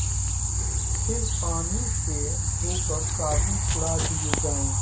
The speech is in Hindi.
फिर पानी से धोकर साबुन छुड़ा दिया जाए